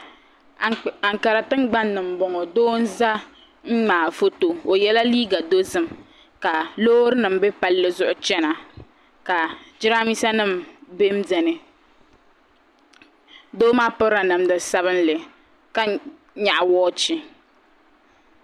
Aŋkara tiŋgbani m bo ŋɔ doo n za n ŋmaai foto o yela liiga dozim ka loorinima biɛ palli zuɣu chana ka giraanmiisanima biɛnbiɛni doo maa pirila namda sabinli ka nyaɣi woochi.